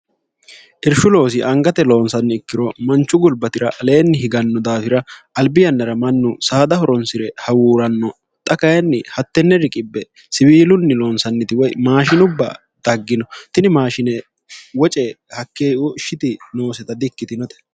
irshu loosi angate loonsanni ikkiro manchu gulbatira aleenni higanno daafira albi yannara mannu saada horonsi're hawuuranno xa kayinni hattenne riqie siwiilunni loonsanniti woy maashinubba daggino tini maashine woce hakkeoshiti nooseta di ikkitinote